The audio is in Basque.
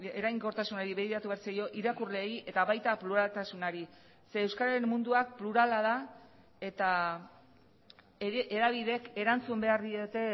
eraginkortasunari begiratu behar zaio irakurleei eta baita pluraltasunari ze euskararen munduak plurala da eta hedabideek erantzun behar diote